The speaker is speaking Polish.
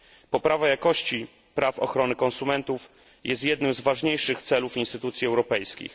Poprawa jakości praw ochrony konsumentów jest jednym z ważniejszych celów instytucji europejskich.